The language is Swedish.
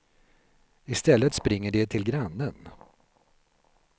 I stället springer de till grannen.